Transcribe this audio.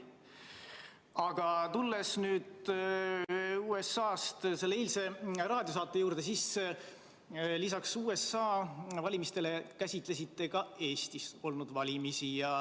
Aga tulles nüüd USA-st selle eilse raadiosaate juurde, siis lisaks USA valimistele käsitlesite ka Eestis olnud valimisi.